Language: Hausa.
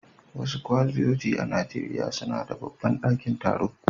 Wasu kwalejoji a Najeriya suna da babban dakin taro.